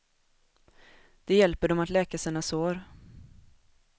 Det hjälper dem att läka sina sår.